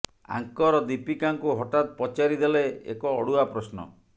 ଆଙ୍କର ଦୀପିକାଙ୍କୁ ହଠାତ୍ ପଚାରି ଦେଲେ ଏକ ଅଡୁଆ ପ୍ରଶ୍ନ